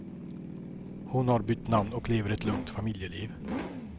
Hon har bytt namn och lever ett lugnt familjeliv.